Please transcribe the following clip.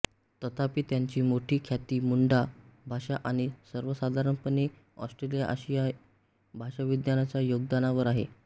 तथापि त्यांची मोठी ख्याती मुंडा भाषा आणि सर्वसाधारणपणे ऑस्ट्रोआशियाई भाषाविज्ञानाच्या योगदानावर आहे